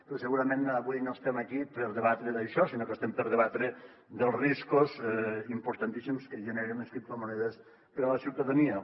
però segurament avui no estem aquí per debatre això sinó que estem per debatre els riscos importantíssims que generen les criptomonedes per a la ciutadania